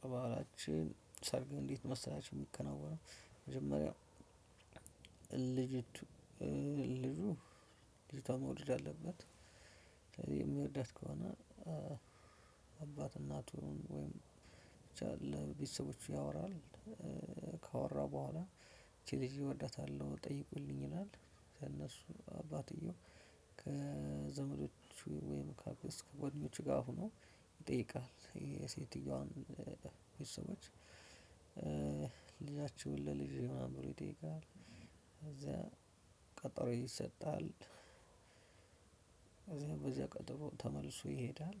በባህላችን ሰርግ እንዴት መሰላችሁ የሚከናወነው መጀመሪያ ልጅ ልጁ ልጅቷን መውደድ አለበት። ስለዚህ የሚወዳት ከሆነ አባት እናቱን ወይም ብቻ ለቤተሰቦቹ ያወራል። ካወራ በኋላ ይህቺን ልጅ እወዳታለሁ ጠይቁልኝ ይላል። ከእነሱ አባትየው ከዘመዶቹ ወይም ካክስት ከጓደኞቹ ጋር ሆኖ ይጠይቃል የሴትየዋን ቤተሰቦች? ልጃችሁን ለልጄ ምናምን ብሎ ይጠይቃል። ከዛ ቀጠሮ ይሰጣል። ከዛ በዚያ ቀጠሮ ተመልሶ ይሄዳል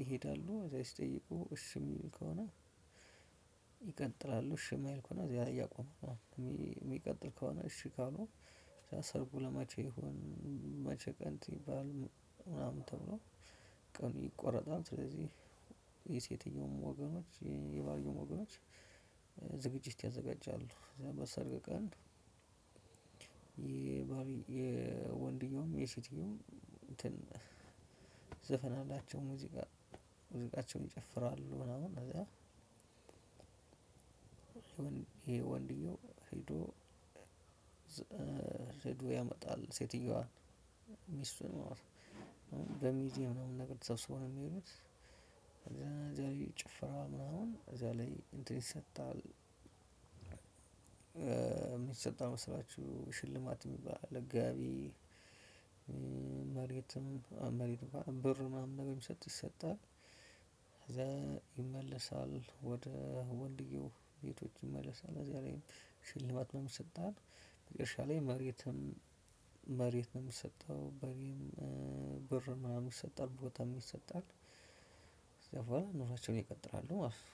ይሄዳሉ እዚያ ሲጠይቁ እሺ ሚል ከሆነ። ይቀጥላሉ እሺ ማይል ከሆነ እና እዚያ ያቆሙና ሚቀጥል ከሆነ እሺ ካሉ ሰርጉ ለመቼ ይሁን? መቼ ቀን ይባል? ምናምን ተብሎ ቀኑ ይቆረጣል። ስለዚህ የሴትየውም ወገኖች የባልየውም ወገኖች ዝግጅት ያዘጋጃሉ በሰርግ ቀን። የወንድኛውም የሴትየውም እንትን ዘፈን አላቸው ሙዚቃ ሙዚቃቸውን ይጨፍራሉ ምናምን ከዛ። ይሄ ወንድኛው ሄዶ ሄዶ ያመጣል ሴትየዋን ሚስቱን ማለት ነው። በሚዜ ምናምን ነገር ተሰብስበው ነው የሚሄዱት። እዚያ ላይ ጭፍራ ምናምን እዚያ ላይ እንትን ይሰጣል። የሚሰጠው ምን መሰላችሁ? ሽልማት የሚባል አለ ጋቢ። መሬትም መሬትማ ብር ምናምን ነገር ሚሰጥ ይሰጣል። ይመለሳል ወደ ወንድየው ቤቶች ይመለሳል እዚያ ላይም ሽልማት ምናምን ይሰጣል። መጨረሻ ላይ መሬትም መሬት ነው የሚሰጠው በሬም ብር ምናምን ይሰጣል ቦታም ይሰጣል። ከዛ በኋላ ኑራቸውን ይቀጥላሉ ማለት ነው።